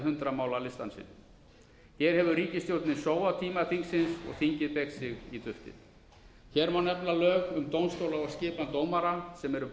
hundrað mála listann sinn hér hefur ríkisstjórn sóað tíma þingsins og þingið beygir sig í duftið hér má nefna lög um dómstóla og skipan dómara sem eru